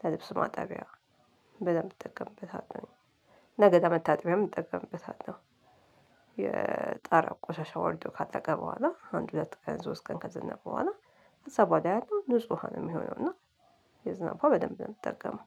ለልብስ ማጠቢያ በደንብ እጠቀምበታለው ለገላ መታጠቢያም እጠቀምበታለሁ። የጣራ ቆሻሻ ወርዶ ካለቀ በኋላ አንድ ሁለት ቀን ሶስት ቀን ከዝነበ በኋላ ከዛ በኋላ ያለው ንጹህ ውሃ ነው ሚሆነው። እና የዝናብ ውሃ በደንብ ነው ምጠቀመው።